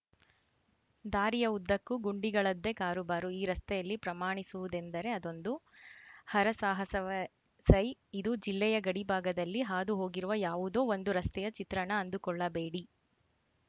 ದಾರಿಯ ಉದ್ದಕ್ಕೂ ಗುಂಡಿಗಳದ್ದೆ ಕಾರುಬಾರು ಈ ರಸ್ತೆಯಲ್ಲಿ ಪ್ರಮಾಣಿಸುವುದೆಂದರೆ ಅದೊಂದು ಹರಸಾಹಸವೇ ಸೈ ಇದು ಜಿಲ್ಲೆಯ ಗಡಿಭಾಗದಲ್ಲಿ ಹಾದುಹೋಗಿರುವ ಯಾವುದೋ ಒಂದು ರಸ್ತೆಯ ಚಿತ್ರಣ ಅಂದುಕೊಳ್ಳಬೇಡಿ